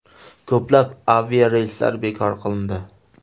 Ko‘plab aviareyslar bekor qilindi.